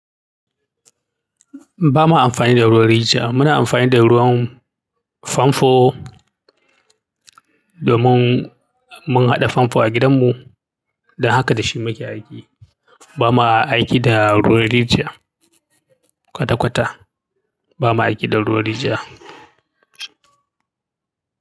Ba ma amfani da ruwan rijiya. Muna amfani da ruwan famfo domin mun haɗa famfo a gidanmu don haka da shi muke aiki. Ba ma aiki da ruwan rijiya kwata-kwata. Ba ma aiki da ruwan rijiya.